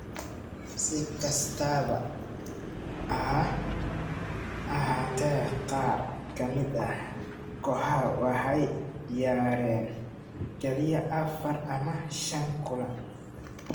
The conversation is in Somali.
Si kastaba ha ahaatee, qaar ka mid ah kooxaha waxay ciyaareen kaliya afar ama shan kulan.